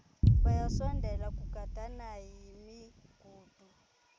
bayasondela kugandana yimigudu